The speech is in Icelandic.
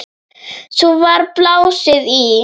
Svo var blásið í.